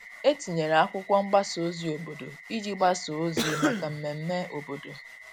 E tinyere akwụkwo mgbasa ozi obodo iji gbasa ozi maka mmeme obodo.